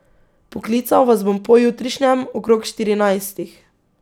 Poklical vas bom pojutrišnjem, okrog štirinajstih.